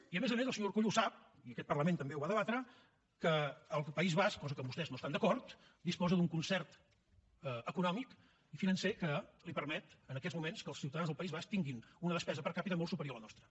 i a més a més el senyor urkullu ho sap i aquest parlament també ho va debatre que el país basc cosa amb què vostès no estan d’acord disposa d’un concert econòmic i financer que li permet en aquests moments que els ciutadans del país basc tinguin una despesa per capita molt superior a la nostra